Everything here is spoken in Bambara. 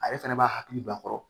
Ale fɛnɛ b'a hakili don a kɔrɔ